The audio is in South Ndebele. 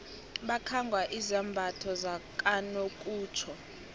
bakhangwa izambatho zakanokutjho